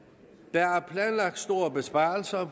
der er planlagt store besparelser